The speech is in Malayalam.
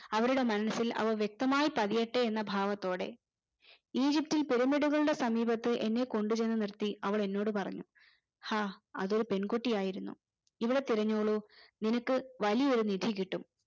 അവരുടെ മനസ്സിൽ അവ വ്യക്തമായി പതിയട്ടെ എന്ന ഭാവത്തോടെ ഈജിപ്തിൽ pyramid കളുടെ സമീപത്തെ എന്നെ കൊണ്ട് ചെന്ന് നിർത്തി അവൾ എന്നോട് പറഞ്ഞു ഹാ അതൊരു പെൺകുട്ടിയായിരുന്നു ഇവി ഇവിടെ തിരഞ്ഞോളു നിനക്കു വലിയ ഒരു നിധി കിട്ടും